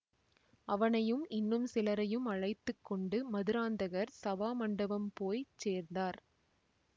அவனையும் இன்னும் சிலரையும் அழைத்து கொண்டு மதுராந்தகர் சபாமண்டபம் போய் சேர்ந்தார்